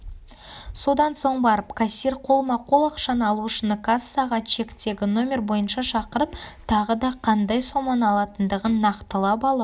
содан соң барып кассир қолма-қол ақшаны алушыны кассаға чектегі номер бойынша шақырып тағы да қандай соманы алатындығын нақтылап алып